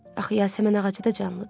Axı Yasəmən ağacı da canlıdır.